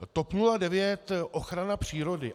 TOP 09, ochrana přírody.